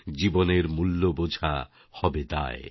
জীবনের মূল্য বোঝা হবে দায়